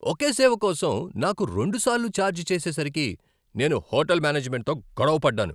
ఒకే సేవకోసం నాకు రెండు సార్లు ఛార్జ్ చేసేసరికి నేను హోటల్ మేనేజ్మెంట్తో గొడవ పడ్డాను.